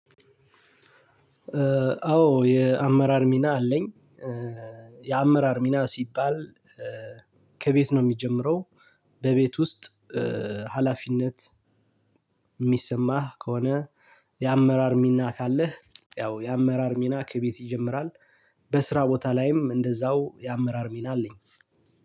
አዎ የአመራር ሚና አለኝ። የአመራር ሚና ሲባል ከቤት ነው የሚጀምረው። በቤት ውስጥ ሀላፊነት። የሚሰማህ ከሆነ የአመራር ሚና ካለህ ያው የአመራር ሚና ከቤት ይጀምራል። በስራ ቦታ ላይም እንደዛው የአመራር ሚና አለኝ።